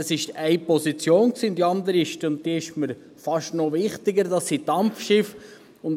Das war eine Position, und die andere – die ist mir fast noch wichtiger – sind die Dampfschiffe.